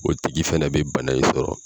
O tigi fɛnɛ bɛ bana in sɔrɔ.